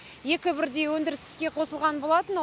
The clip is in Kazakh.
екі бірдей өндіріс іске қосылған болатын